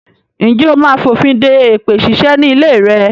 Ǹjẹ́ ó máa fònfin de èpè ṣíṣe ni ilé rẹ?